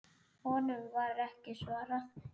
Honum var ekki svarað.